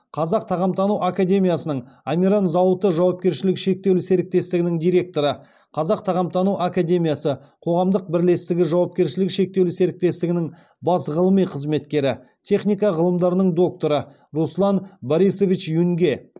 қазақ тағамтану академиясының амиран зауыты жауапкершілігі шектеулі серіктестігінің директоры қазақ тағамтану академиясы қоғамдық бірлестігі жауапкершілігі шектеулі серіктестігінің бас ғылыми қызметкері техника ғылымдарының докторы руслан борисович юнге